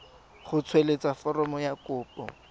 go tsweletsa foromo ya kopo